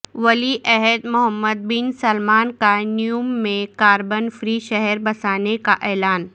ولی عہد Mohammed bin Salman کا نیوم میں کاربن فری شہر بسانے کا اعلان